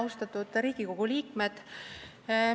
Austatud Riigikogu liikmed!